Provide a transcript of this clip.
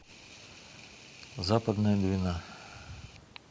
западная двина